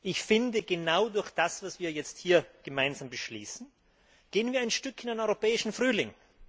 Ich finde, genau durch das, was wir hier jetzt gemeinsam beschließen, gehen wir ein Stück in einen europäischen Frühling!